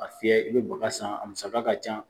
A fiyɛ, i be baga san a musaka ka ca.